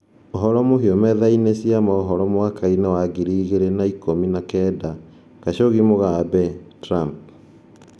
Ũhoro mũhio methani-inĩ chĩa mũhoro mwaka-ini wa giri ingere na ikũ mi na kenda: Khashoggi, Mugabe, Trump.